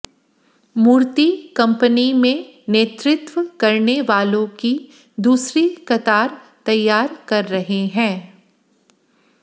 मूर्ति company में नेतृत्व करने वालों की दूसरी कतार तैयार कर रहे हैं